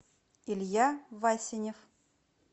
илья васинев